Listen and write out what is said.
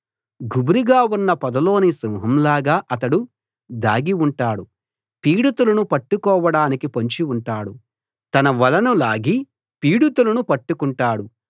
గుబురుగా ఉన్న పొదలోని సింహం లాగా అతడు దాగి ఉంటాడు పీడితులను పట్టుకోవడానికి పొంచి ఉంటాడు తన వలను లాగి పీడితులను పట్టుకుంటాడు